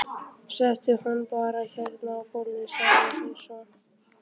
Settu hann bara hérna á gólfið, sagði hún svo.